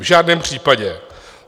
V žádném případě.